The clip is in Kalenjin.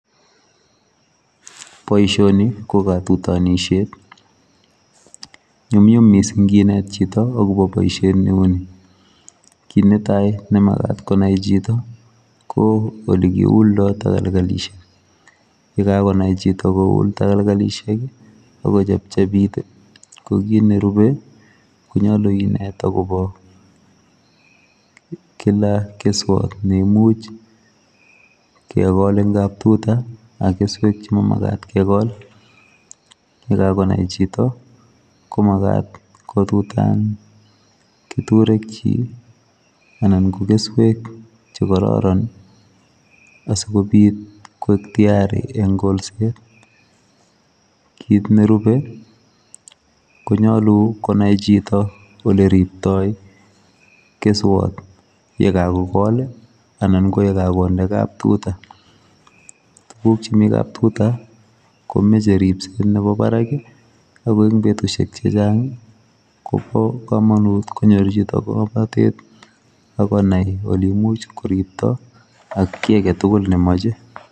Boisioni ko katutanisiet nyumnyum missing kinet chitoo agobo boisiet ne uu nii ,kit ne tai ne magaat konai chitoo ko ole kiuldaa takalkalisiek ,ye kagonai chitoo kowul takalkalisiek ago chepchepiit ii ko kit ne rupee konyaluu kineet agobo kila kesuat neimuuch kegol en kaptuta ak kesuek che mamagat kegol en kap tuta ye kagonai chitoo ko magaat koib ketureek anan ko kesuek che kororon asikobiit koek tiyarii en kolset kit ne rupee konyaluu konai chitoo ole riptoi kesuat ,ye kagokol ii anan ko ye kakondee kaptutaa tuguuk chemii kaptutaa komachei ripset nemii Barak ii ago eng betusiek che chaang Kobo kamanut konyoor chitoo ngamnatet agonai kole imuuch kiriptoi ak kiy age tugul ne mamachei.